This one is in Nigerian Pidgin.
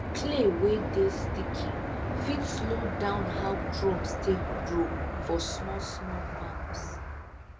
clay wey dey sticky fit slow down how crops take grow for small small farms